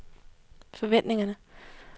forventningerne